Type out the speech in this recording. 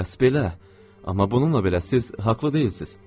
Bəs belə, amma bununla belə siz haqlı deyilsiz.